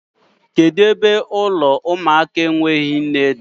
Kedu ebe ụlọ ụmụaka enweghị nne dị?